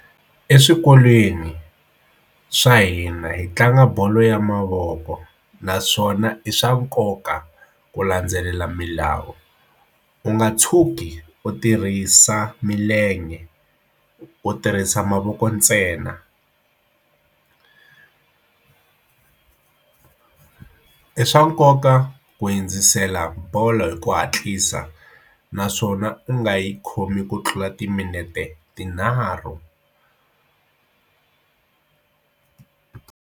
Eswikolweni swa hina hi tlanga bolo ya mavoko naswona i swa nkoka ku landzelela milawu u nga tshuki u tirhisa milenge ku tirhisa mavoko ntsena i swa nkoka ku hundzisela bolo hi ku hatlisa naswona u nga yi khomi ku tlula timinete tinharhu.